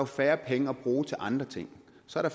færre penge at bruge til andre ting så er